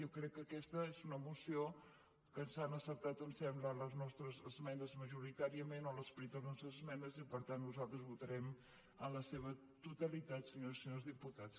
jo crec que aquesta és una moció que s’han acceptat em sembla les nostres esmenes majoritàriament o l’esperit de les nostres esmenes i que per tant nosaltres votarem en la seva totalitat senyores i senyors diputats